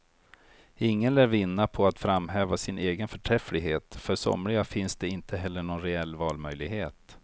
Ingen lär vinna på att framhäva sin egen förträfflighet, för somliga finns det inte heller någon reell valmöjlighet.